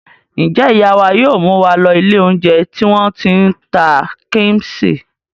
Ǹjẹ́ ìyá wa yóò mú wa lọ ilé-oúnjẹ tí wọ́n ti ń ta kíḿṣì?